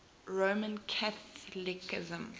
roman catholicism